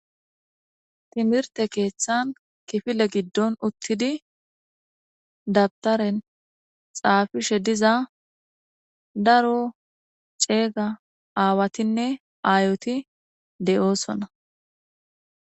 Timirte keeththan kifile giddon uttidi dabtaren xaafishe diza daro ceega aawatinne aayoti de'oosona.